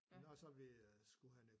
Men når så vi øh skulle have noget